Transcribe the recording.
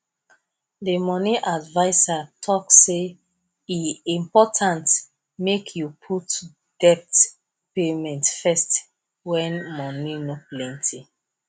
the money advisor talk say e important make you put debt payment first when money no plenty